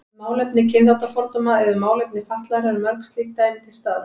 Um málefni kynþáttafordóma eða um málefni fatlaðra eru mörg slík dæmi til staðar.